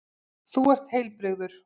Þú ert heilbrigður.